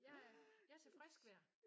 Jeg er jeg er til frisk vejr